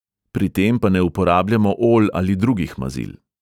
Pri tem pa ne uporabljamo olj ali drugih mazil.